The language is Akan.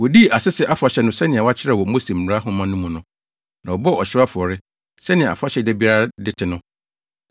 Wodii Asese Afahyɛ no sɛnea wɔakyerɛ wɔ Mose mmara nhoma no mu no, na wɔbɔɔ ɔhyew afɔre, sɛnea afahyɛ da biara de te no.